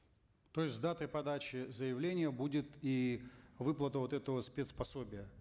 то есть датой подачи заявления будет и выплата вот этого спец пособия